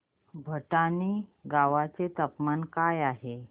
भटाणे गावाचे तापमान काय आहे